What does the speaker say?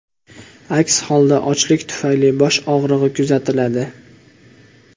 Aks holda ochlik tufayli bosh og‘rig‘i kuzatiladi.